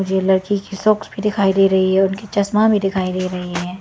ये लड़की की शॉक्स भी दिखाई दे रही है और उनकी चश्मा भी दिखाई दे रही है।